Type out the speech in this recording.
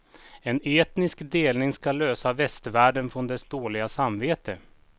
En etnisk delning skall lösa västvärlden från dess dåliga samvete.